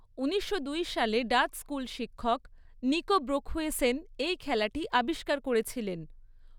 উনিশশো দুই সালে ডাচ স্কুল শিক্ষক, নিকো ব্রোখুয়েসেন, এই খেলাটি আবিষ্কার করেছিলেন।